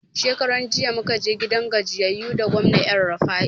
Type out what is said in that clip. Shekaran jiya muka je gidan gajiyayu da gwamna elrufai